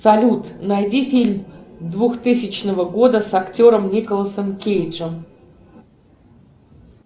салют найди фильм двухтысячного года с актером николасом кейджем